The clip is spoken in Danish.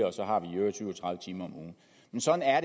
og så har vi i øvrigt syv og tredive timer om ugen men sådan er